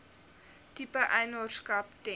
tipe eienaarskap ten